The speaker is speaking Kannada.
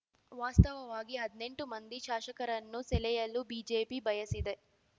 ವಾಸ್ತವವಾಗಿ ಹದ್ನೆಂಟು ಮಂದಿ ಶಾಸಕರನ್ನು ಸೆಳೆಯಲು ಬಿಜೆಪಿ ಬಯಸಿದೆ